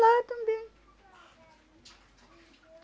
Lá também.